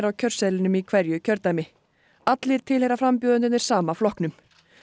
kjörseðlinum í hverju kjördæmi allir tilheyra frambjóðendur sama flokknum